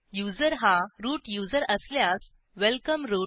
user हा root user असल्यास welcome route